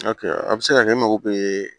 a bɛ se ka kɛ e mago bɛ